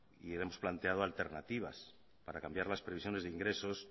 y le hemos planteado alternativas para cambiar las previsiones de ingresos